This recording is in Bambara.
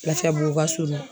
Lafiyabugu ka surun.